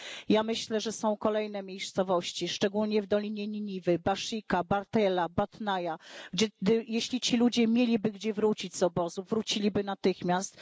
Ja myślę, że są kolejne miejscowości, szczególnie w dolinie Niniwy, Baszika, Bartella, Batnaja, gdzie, jeśli ci ludzie mieliby gdzie wrócić z obozów, wróciliby natychmiast.